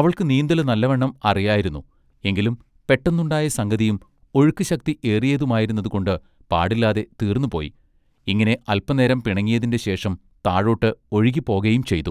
അവൾക്ക് നീന്തല് നല്ലവണ്ണം അറിയായിരുന്നു എങ്കിലും പെട്ടന്നുണ്ടായ സംഗതിയും ഒഴുക്കുശക്തി ഏറിയതുമായിരുന്നതുകൊണ്ട് പാടില്ലാതെ തീർന്നു പോയി ഇങ്ങനെ അല്പന്നേരം പിണങ്ങിയതിന്റെ ശേഷം താഴൊട്ട് ഒഴുകി പോകയും ചെയ്തു.